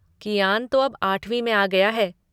कियान तो अब आठवीं में आ गया है।